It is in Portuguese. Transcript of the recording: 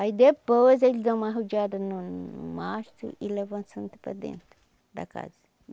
Aí depois, eles dão uma rodeada no no mastro e levam a Santa para dentro da casa.